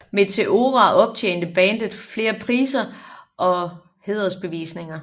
Meteora optjente bandet flere priser og hædersbevisninger